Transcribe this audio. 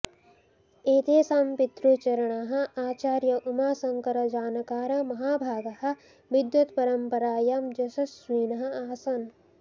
एतेषां पितृचरणाः आचार्य उमाशंकर जानकार महाभागाः विद्वत्परम्परायां यशस्विनः आसन्